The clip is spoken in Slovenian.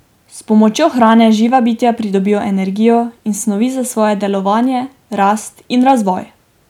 S pomočjo hrane živa bitja pridobijo energijo in snovi za svoje delovanje, rast in razvoj.